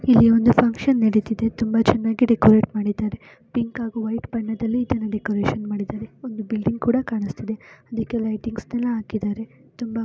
ಇಲ್ಲಿ ಒಂದು ಫಂಕ್ಷನ್ ನಡಿತಿದೆ ತುಂಬಾ ಚನ್ನಾಗಿ ಡೆಕೋರೇಟ್ ಮಾಡಿದ್ದಾರೆ. ಪಿಂಕ್ ಹಾಗು ವೈಟ್ ಬಣ್ಣದಲ್ಲಿ ಇದನ್ನು ಡೆಕೋರೇಷನ್ ಮಾಡಿದ್ದಾರೆ. ಒಂದು ಬಿಲ್ಡಿಂಗ್ ಕೂಡ ಕಾಣುಸ್ತಿದೆ ಅದಕ್ಕೆ ಲೈಟಿಂಗ್ಸ್ ಎಲ್ಲಾ ಹಾಕಿದ್ದಾರೆ ತುಂಬ--